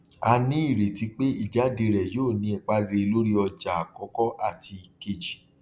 a nírètí pé ìjáde rẹ yóò ní ipa rere lórí ọjà àkọkọ àti kejì